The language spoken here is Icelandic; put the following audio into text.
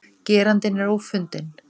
Gerandinn er ófundinn